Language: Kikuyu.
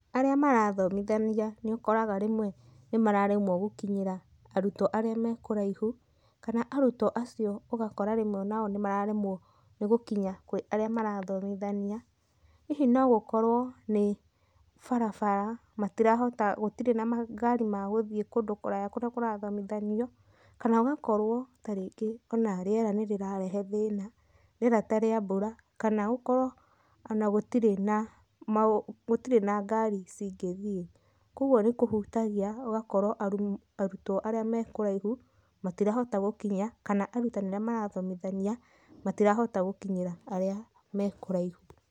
Arĩa marathomithania nĩũkoraga rĩmwe nĩmararemwo gũkinyĩra arutwo arĩa mekũraihu, kana arutwo acio ũgakora rĩmwe onao nĩmararemwo nĩ gũkinya kwĩ arĩa marathomithania, hihi no gũkorwo nĩ barabara matirahota, gũtirĩ na mangari ma gũthiĩ kũndũ kũraya kũrĩa kũrathomithanio, kana ũgakorwo tarĩngĩ ona rĩera nĩrĩrarehe thĩna, rĩera ta rĩa mbura kana gũkorwo ona gũtirĩ na mau, gũtirĩ na ngari cingĩthiĩ. Kwogwo nĩ kũhutagia ũgakorwo arutwo aria me kũraihu matirahota gũkinya, kana arutani arĩa marathomithania matirahota gũkinyĩra arĩa me kũraihu.